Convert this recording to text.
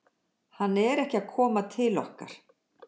Hann er ekki að koma til okkar.